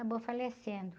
Acabou falecendo.